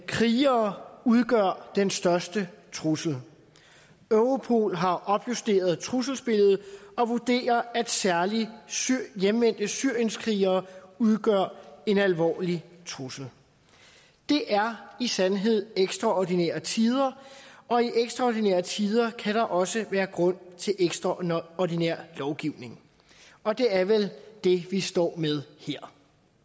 krigere udgør den største trussel europol har opjusteret trusselsbilledet og vurderer at særlig hjemvendte syrienskrigere udgør en alvorlig trussel det er i sandhed ekstraordinære tider og i ekstraordinære tider kan der også være grund til ekstraordinær lovgivning og det er vel det vi står med her